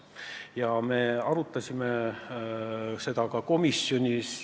Ja me arutasime seda ka komisjonis.